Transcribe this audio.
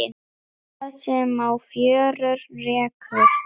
Það sem á fjörur rekur